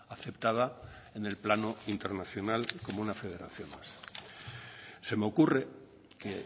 aceptada en el plano internacional como una federación más se me ocurre que